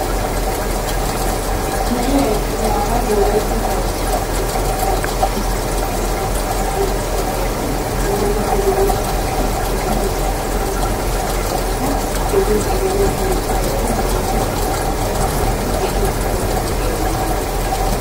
Na'yaa eqqidara wolaytta sharbbiya mayadda bandirakka oyqadda keehippe puullattidda boottan i mattappe guyeer qassi keehippe lo"iyaanne maatta meraan kamettida keehi xeelanaw puulattiddabatti de'yoosani eqqasu, akka qassi keehi ufayttaydda diyaaba malattawussu.